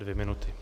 Dvě minuty.